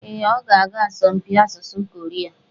Ee, ọ ga-aga asọmpi asụsụ Koria.